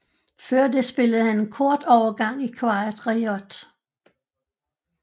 Før det spillede han en kort overgang i Quiet Riot